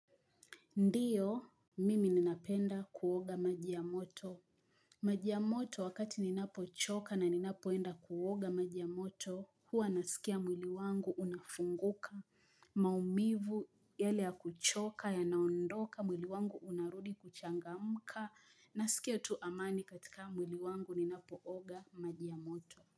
Ndiyo, mimi ninapenda kuoga maji ya moto. Maji ya moto wakati ninapo choka na ninapoenda kuoga maji ya moto, huwa nasikia mwili wangu unafunguka. Maumivu yale ya kuchoka, yanaondoka, mwili wangu unarudi kuchangamka. Nasikia tu amani katika mwili wangu ninapooga maji ya moto.